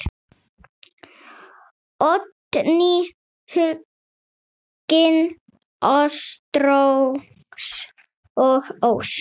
Oddný, Huginn, Ástrós og Ósk.